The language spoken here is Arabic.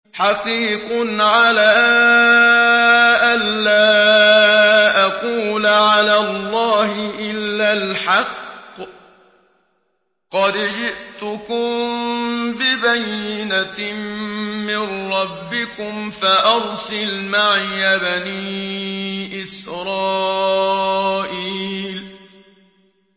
حَقِيقٌ عَلَىٰ أَن لَّا أَقُولَ عَلَى اللَّهِ إِلَّا الْحَقَّ ۚ قَدْ جِئْتُكُم بِبَيِّنَةٍ مِّن رَّبِّكُمْ فَأَرْسِلْ مَعِيَ بَنِي إِسْرَائِيلَ